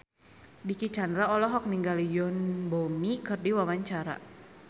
Dicky Chandra olohok ningali Yoon Bomi keur diwawancara